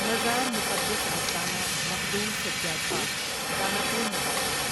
مزارمقدس آستانہ مخدوم سجاد پاک، داناپور میں واقع ہے